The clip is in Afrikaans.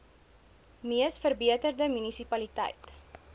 mees verbeterde munisipaliteit